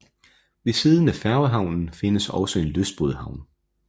Ved siden af færgehavnen findes også en lystbådehavn